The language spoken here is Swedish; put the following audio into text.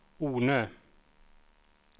Ornö